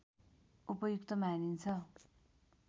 उपयुक्त मानिन्छ